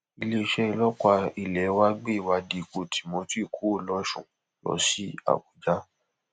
iléeṣẹ ọlọpàá ilé wa gbé ìwádìí ikú timothy kúrò lọsùn lọ sí àbújá